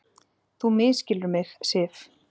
Þú misskilur mig, Sif.